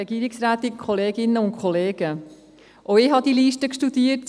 Auch ich habe diese Liste studiert;